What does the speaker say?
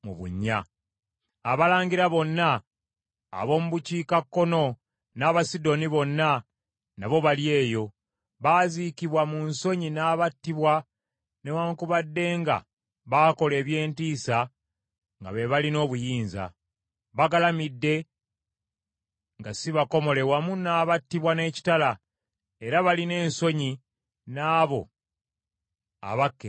“Abalangira bonna ab’omu bukiikakkono n’Abasidoni bonna nabo bali eyo; baaziikibwa mu nsonyi n’abattibwa newaakubadde nga baakola eby’entiisa nga be balina obuyinza. Bagalamidde nga si bakomole wamu n’abattibwa n’ekitala, nga balina ensonyi n’abo abakka emagombe.